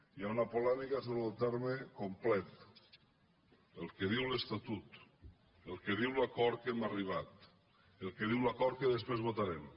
hi ha una polèmica sobre el terme complet el que diu l’estatut el que diu l’acord a què hem arribat el que diu l’acord que després votarem